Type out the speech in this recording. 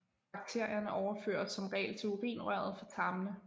Bakterierne overføres som regel til urinrøret fra tarmene